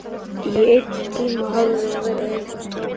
Í einn tíma hafði hún verið eins og strákur.